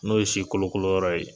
N'o ye si kolo kolo yɔrɔ ye